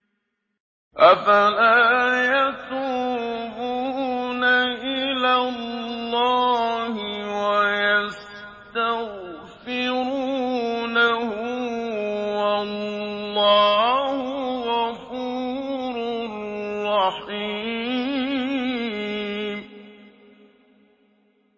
أَفَلَا يَتُوبُونَ إِلَى اللَّهِ وَيَسْتَغْفِرُونَهُ ۚ وَاللَّهُ غَفُورٌ رَّحِيمٌ